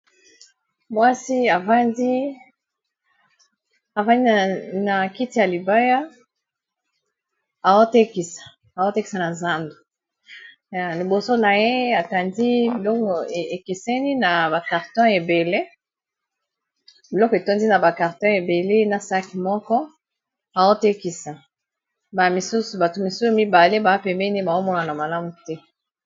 Mwasi avandi na kiti ya libaya aotekisa na zando, liboso na ye atandi biloko ekeseni na ba carton ebele biloko etondi na ba carton ebele na saki moko aotekisa ba misusu bato misusu mibale ba pembeni baomona na malamu te.